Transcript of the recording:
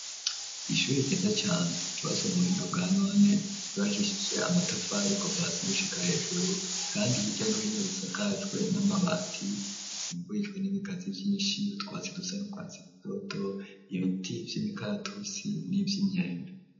Ishuri, ryiza cane, ryubatswe mu buhinga, bwa none, ryubakishije amatafari kova hasi, gushika hejuru, kandi hirya no hino, risakajwe n'amabati; rizingurijwe n'ibigazi vyinshi, utwatsi dusa n’urwatsi rutoto, ibiti vy'imikaratusi, n'ivy'imyembe.